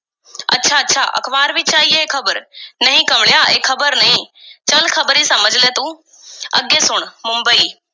ਅੱਛਾ, ਅਖ਼ਬਾਰ ਵਿੱਚ ਆਈ ਇਹ ਖ਼ਬਰ? ਨਹੀਂ ਕਮਲਿਆ, ਇਹ ਖ਼ਬਰ ਨਹੀਂ, ਚੱਲ ਖ਼ਬਰ ਈ ਸਮਝ ਲੈ ਤੂੰ। ਅੱਗੇ ਸੁਣ! ਮੁੰਬਈ,